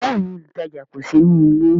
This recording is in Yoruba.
Bẹẹni, olutaja kò sí nílé